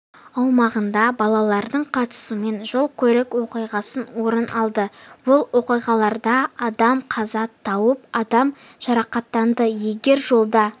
аумағында балалардың қатысуымен жол-көлік оқиғасы орын алды бұл оқиғаларда адам қаза тауып адам жарақаттанды егер жолда